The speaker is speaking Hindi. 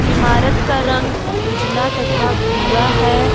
इमारत का रंग उजला तथा भूरा है।